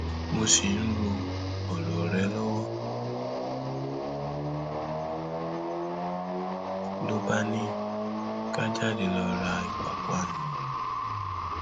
mo ṣì ń ro ọrọ rẹ lọwọ ló bá ní ká jáde lọọ ra ìpápánu